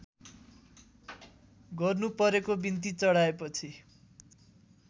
गर्नुपरेको बिन्ती चढाएपछि